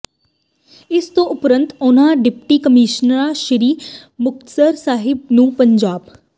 ਇਸ ਤੋਂ ਉਪਰੰਤ ਉਨ੍ਹਾਂ ਡਿਪਟੀ ਕਮਿਸ਼ਨਰ ਸ੍ਰੀ ਮੁਕਤਸਰ ਸਾਹਿਬ ਨੂੰ ਪੰਜਾਬ